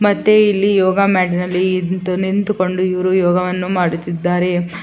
ಮತ್ತೆ ಇಲ್ಲಿ ಯೋಗಾ ಮ್ಯಾಟ್ ನಲ್ಲಿ ನಿಂತು ನಿಂತುಕೊಂಡು ಇವ್ರು ಯೋಗವನ್ನು ಮಾಡುತ್ತಿದ್ದಾರೆ.